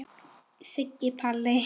Siggi Palli.